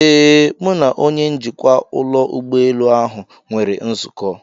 Ee, Mụ na onye njikwa ụlọ ụgbọelu ahụ nwere nzukọ.